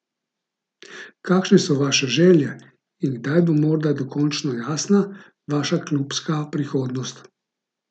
Kakšne so vaše želje in kdaj bo morda dokončno jasna vaša klubska prihodnost?